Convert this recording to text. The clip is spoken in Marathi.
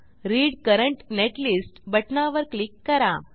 रीड करंट नेटलिस्ट बटणावर क्लिक करा